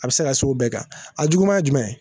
A bɛ se ka s'o bɛɛ kan, a juguma ye jumɛn ye?